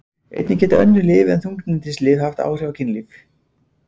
einnig geta önnur lyf en þunglyndislyf haft áhrif á kynlíf